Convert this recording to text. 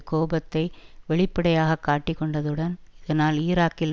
கோபத்தை வெளிப்படையாக காட்டிக்கொண்டதுடன் இதனால் ஈராக்கில்